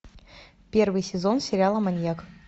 первый сезон сериала маньяк